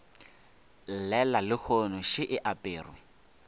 llela lehono še e aperwe